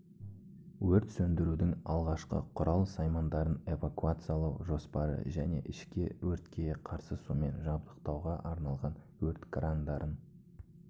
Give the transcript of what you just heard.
өрт сөндірудің алғашқы құрал-саймандарын эвакуациялау жоспары және ішкі өртке қарсы сумен жабдықтауға арналған өрт крандарын